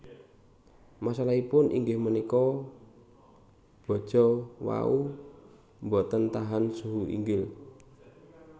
Masalahipun inggih punika baja wau boten tahan suhu inggil